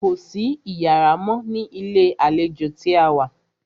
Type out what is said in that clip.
Kò sí iyàrá mọ́ ní ilé àlejò tí a wá.